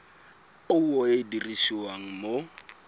puo e e dirisiwang mo